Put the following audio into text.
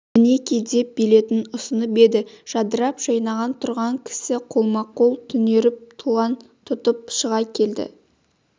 мінеки деп билетін ұсынып еді жадырап жайнап тұрған кісі қолма-қол түнеріп тұлан тұтып шыға келді